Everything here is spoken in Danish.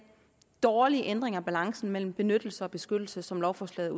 dårlige ændring af balancen mellem benyttelse og beskyttelse som lovforslaget